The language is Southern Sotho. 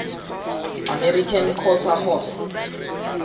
american quarter horse